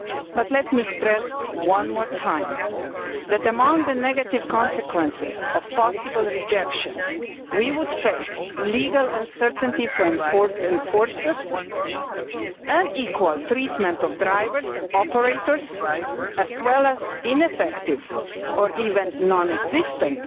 But let me stress one more time that, among the negative consequences of possible rejection, we would face legal uncertainty for enforcers, unequal treatment of drivers and operators, as well as ineffective or even non existent